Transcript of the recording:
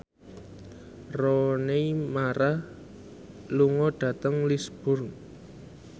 Rooney Mara lunga dhateng Lisburn